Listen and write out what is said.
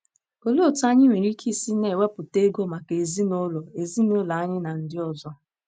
Olee otú anyị nwere ike isi na - ewepụta oge maka ezinụlọ ezinụlọ anyị na ndị ọzọ?